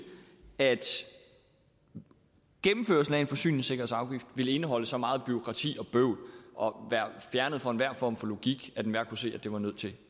at gennemførslen af en forsyningssikkerhedsafgift ville indeholde så meget bureaukrati og bøvl og være fjernet fra enhver form for logik at enhver kunne se at det var nødt til